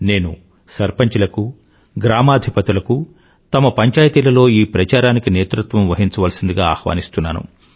నేను సర్పంచ్ లకూ గ్రామాధిపతులకూ తమ పంచాయితీలలో ఈ ప్రచారానికి నేతృత్వం వహించాల్సిందిగా ఆహ్వానిస్తున్నాను